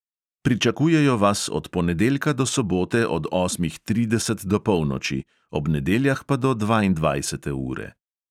Pričakujejo vas od ponedeljka do sobote od osmih trideset do polnoči, ob nedeljah pa do dvaindvajsete ure.